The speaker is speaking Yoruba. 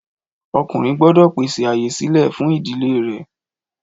Ọkùnrin gbọ́dọ̀ pèsè ààyè sílè fún ìdílé rẹ̀